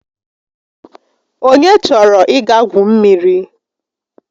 Onye chọrọ ịga gwu mmiri?